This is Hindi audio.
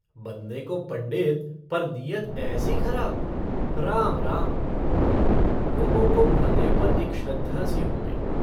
बनने को पंडित पर नीयत ऐसी खराब? राम राम। लोगों को महादेव पर एक श्रद्धा सी हो गई।